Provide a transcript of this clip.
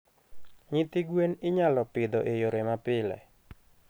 Nyithi gwen inyalo pidho e yore mapile.